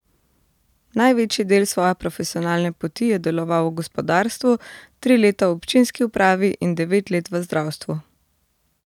Največji del svoje profesionalne poti je deloval v gospodarstvu, tri leta v občinski upravi in devet let v zdravstvu.